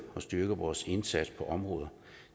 og styrke vores indsats på andre områder